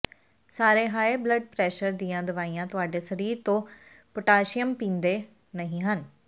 ਸਾਰੇ high blood pressure ਦੀਆਂ ਦਵਾਈਆਂ ਤੁਹਾਡੇ ਸਰੀਰ ਤੋਂ ਪੋਟਾਸ਼ੀਅਮ ਪੀਂਦੇ ਨਹੀਂ ਹਨ